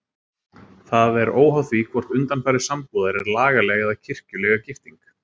Það er óháð því hvort undanfari sambúðar er lagaleg eða kirkjulega gifting.